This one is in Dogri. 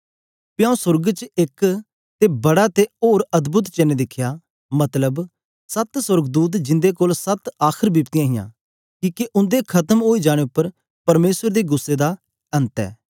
पी आऊँ सोर्ग च एक ते बड़ा ते होर अद्भोद चेन्न दिखया मतलब सत्त सोर्गदूत जिंदे कोल सत्त आखर बिपत्तियाँ हियां किके उन्दे खत्म ओई जाने उपर परमेसर दे गुस्सै दा अन्त ऐ